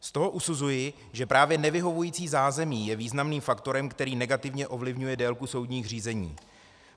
Z toho usuzuji, že právě nevyhovující zázemí je významným faktorem, který negativně ovlivňuje délku soudních řízení.